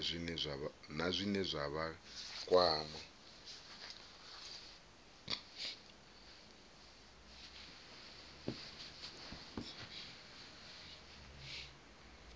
na zwine zwa vha kwama